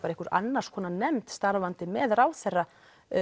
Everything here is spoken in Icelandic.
einhver annars konar nefnd starfandi með ráðherra